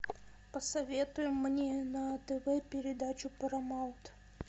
посоветуй мне на тв передачу парамаунт